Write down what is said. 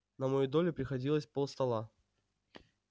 на мою долю приходилось полстола